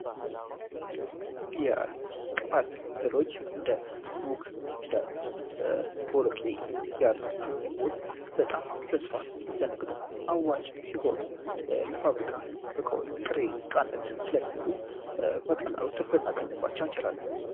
የቅባት ህሎች እንደ ኑግ እንደ ቦሎቄ ያሉ ምግቦች በጣም በስፋት ለንግዱ አዋጪ ሲሆኑ ለፋብሪካ እቀዎች ጥሬቃነት ስለሚውሉ በቀላሉ ትርፍ ልናገኝባቸው ይችላለን።